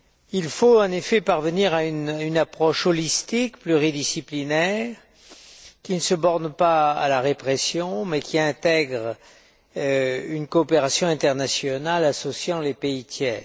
Il faut, en effet, parvenir à une approche holistique, pluridisciplinaire, qui ne se borne pas à la répression, mais qui intègre une coopération internationale associant les pays tiers.